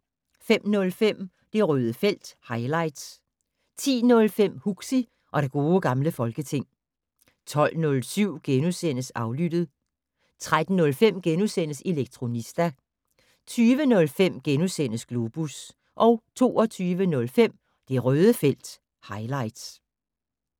05:05: Det Røde felt - highlights 10:05: Huxi og det gode gamle folketing 12:07: Aflyttet * 13:05: Elektronista * 20:05: Globus * 22:05: Det Røde felt - highlights